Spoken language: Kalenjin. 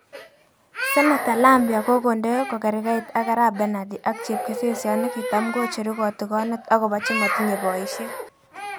Senator Lambia kokonde kogergeit ak arap Bernadi ak chepkesesiot nekitam kocheru kotigonet okobo chemotinye boishek.